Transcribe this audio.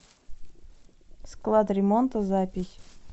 склад ремонта запись